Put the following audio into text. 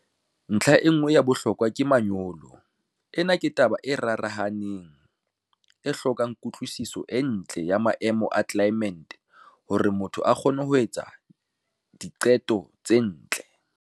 Ntlha e nngwe ya bohlokwa ke manyolo. Ena ke taba e rarahaneng, e hlokang kutlwisiso e ntle ya maemo a tlelaemete hore motho a kgone ho etsa diqeto tse ntle.